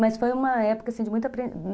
Mas foi uma época, assim, de muita apren